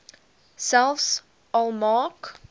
selfs al maak